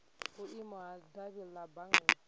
vhuimo ha davhi la bannga